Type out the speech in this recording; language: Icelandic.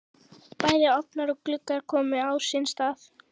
Bæði ofnar og gluggar komnir á sinn stað.